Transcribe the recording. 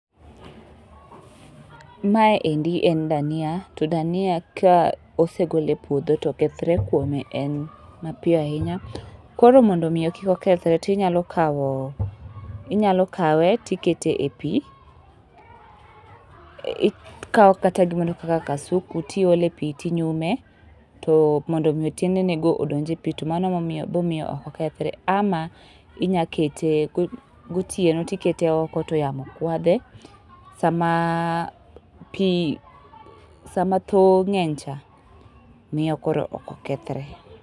Mae endi en dhania, to dhania ka osegol e puodho to kethre kuome en mapiyo ahinya. Koro mondo omiyo kik okethre, tinyalo kao, inyalo kawe tikete e pi. Ikao kata gimoro kaka kasuku, tiole pi tinyume, to mondo omi tiende ne go odonj e pi, to mano momiyo bo miyo ok okethre. Ama inya kete, gotieno tikete oko to yamo kwadhe, sama pi sama thowo ng'eny cha, miyo koro ok okethre.